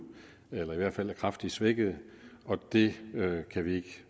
eller i hvert fald er kraftigt svækkede og det kan vi ikke